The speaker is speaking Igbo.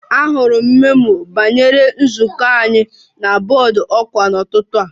Ahụrụ m memo banyere nzukọ anyị na bọọdụ ọkwa n'ụtụtụ a